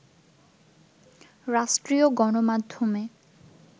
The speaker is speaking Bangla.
রাষ্ট্রীয় গণমাধ্যমে